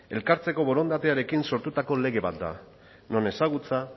elkartzeko borondatearekin sortutako lege bat da non ezagutza